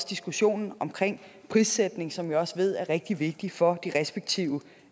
diskussionen omkring prissætningen som jeg også ved er rigtig vigtig for de respektive